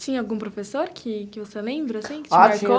Tinha algum professor que que você lembra, assim, que te marcou? Há tinha